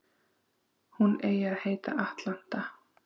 Hún eigi að heita Atlanta